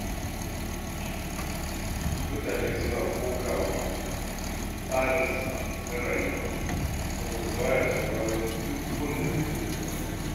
Mutane suna kokawa da tsarinsa na rayuwa, saboda ba ya sauraron duk wanda bai san da zuwansa ba.